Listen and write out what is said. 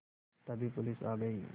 तभी पुलिस आ गई